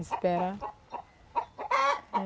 Esperar.